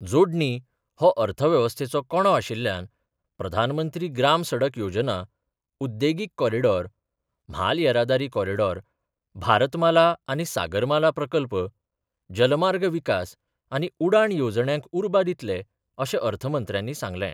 जोडणी हो अर्थव्यवस्थेचो कणो आशिल्ल्यान प्रधानमंत्री ग्राम सडक योजना, उद्देगीक कॉरीडॉर, म्हाल येरादारी कॉरीडॉर, भारतमाला आनी सागरमाला प्रकल्प, जलमार्ग विकास आनी उडाण येवजण्यांक उर्बा दितले, अशें अर्थमंत्र्यानी सांगलें.